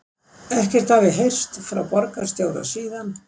Ekkert hafi heyrst frá borgarstjóra síðan